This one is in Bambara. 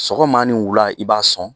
Sɔgɔma ni wula i b'a sɔn